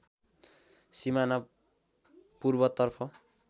सिमाना पूर्वतर्फ